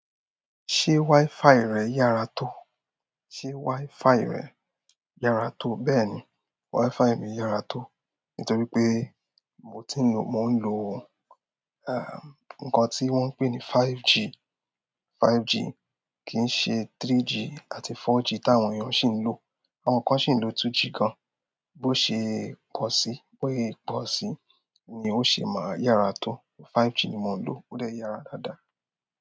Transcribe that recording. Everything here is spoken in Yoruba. Ṣé WiFi rẹ yàrá tó? Ṣé WiFi rẹ yàrá tó? Bẹ́ẹ̀ni, WiFi mi yàrá tó. Nítorí pé mo ti ń lo, mo ń lo, eh, nǹkan tí wọ́n ń pè ní 5G. 5G kì í ṣe 3G àti 4G tí àwọn èèyàn ṣì ń lò. Àwọn kan ṣì ń lò 2G gan. Bó ṣe pọ̀ sí, bó yẹ pọ̀ sí ni ó ṣe máa yàrá tó. 5G ni mò ń lò, ó de yàrá dáadáa.